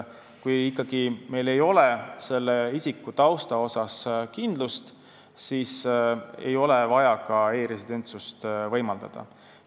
Kui meil ei ole ikkagi isiku tausta suhtes kindlust, siis ei ole vaja ka e-residentsust võimaldada.